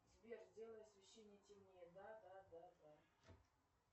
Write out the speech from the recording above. сбер сделай освещение темнее да да да да